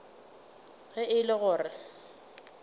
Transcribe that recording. ge e le gore o